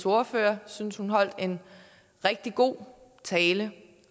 ordfører jeg synes at hun holdt en rigtig god tale